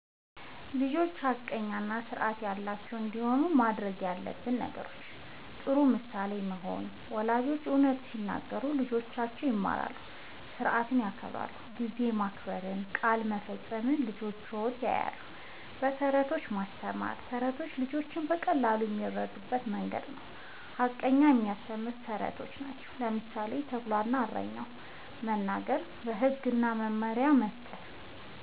ልጆች ሐቀኛ እና ስርዓት ያላቸው እንዲሆኑ ማድረግ ያለብን ነገሮችን፦ ፩. ጥሩ ምሳሌ መሆን፦ ወላጆች እውነት ሲናገሩ ልጆችም ይማራሉ። ስርዓት ሲከበር (ጊዜ መከበር፣ ቃል መፈጸም) ልጆች ያዩታል። ፪. በተረቶች ማስተማር፦ ተረቶች ልጆች በቀላሉ የሚረዱበት መንገድ ነዉ። ሐቀኝነትን የሚያስተምሩ ተረቶችን (ምሳሌ፦ “ተኩላ እና እረኛው”) መናገር። ፫. ህግ እና መመሪያ መስጠት፦